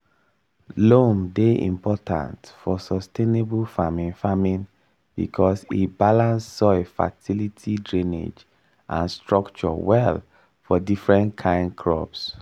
loam dey important for sustainable farming farming because e balance soil fertility drainage and structure well for different kain crops.